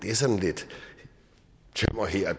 er sådan lidt tømmer her og